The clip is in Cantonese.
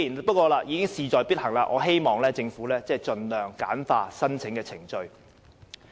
不過，既然事在必行，我唯有希望政府盡量簡化申請程序。